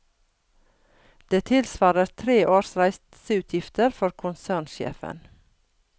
Det tilsvarer tre års reiseutgifter for konsernsjefen.